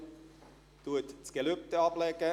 Er legt das Gelübde ab.